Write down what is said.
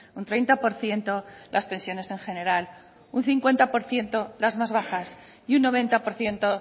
un treinta por ciento las pensiones en general un cincuenta por ciento las más bajas y un noventa por ciento